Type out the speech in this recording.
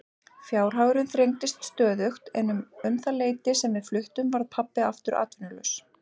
Fjárhagurinn þrengdist stöðugt en um það leyti sem við fluttum varð pabbi aftur atvinnulaus.